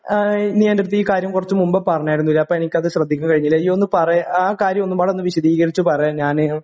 ഏഹ് നീ എൻ്റടുത്ത് ഈ കാര്യം കുറച്ചു മുൻപേ പറഞ്ഞായിരുന്നുല്ലേ അപ്പോ എനിക്കത് ശ്രദ്ധിക്കാൻ കഴിഞ്ഞില്ല നീയൊന്ന് പറയ് ആ കാര്യം ഒന്ന് പാടൊന്ന് വിശദീകരിച്ചു പറ ഞാന്